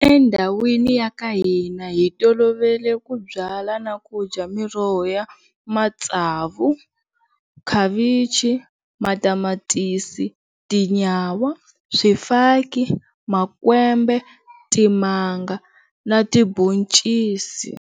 Endhawini ya ka hina hi tolovele ku byala na ku dya miroho ya matsavu, khavichi, matamatisi, tinyawa, swifaki, makwembe, timanga na tibhoncisi.